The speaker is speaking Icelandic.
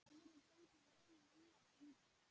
Aðrir fengu mun minna fylgi.